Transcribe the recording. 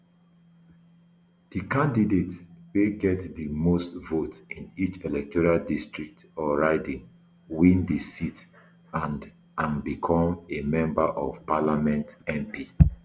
di candidate wey get di most votes in each electoral district or riding win di seat and and become a member of parliament mp